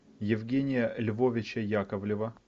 евгения львовича яковлева